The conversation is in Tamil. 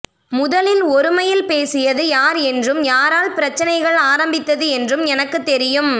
முதலில் ஒருமையில் பேசியது யார் என்றும் யாரால் பிரச்சினைகள் ஆரம்பித்தது என்று எனக்கும் தெரியும்